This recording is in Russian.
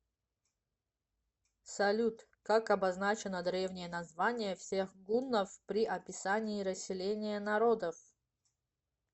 салют как обозначено древнее название всех гуннов при описании расселения народов